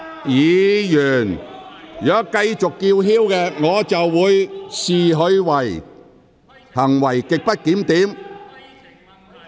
議員如繼續叫喊，我會視之為行為極不檢點。